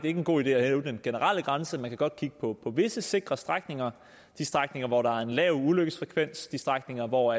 er en god idé at hæve den generelle grænse man kan godt kigge på visse sikre strækninger de strækninger hvor der er en lav ulykkesfrekvens de strækninger hvor